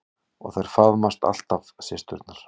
Og þær faðmast alltaf systurnar.